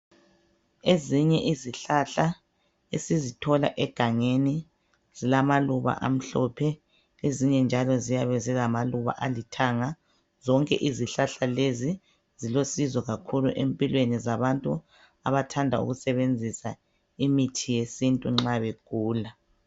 Ezihye izihlahla esizithola egangeni, zilamaluba amhlophe. Ezinye njalo, ziyabe zilamaluba alithanga. Zonke izihlahla lezi, zilosizo kakhulu, empilweni yabantu, abathanda ukusebenzisa izihlahla nxa begula.